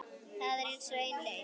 Það er aðeins ein leið